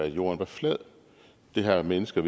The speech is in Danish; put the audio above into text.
jorden var flad det har mennesker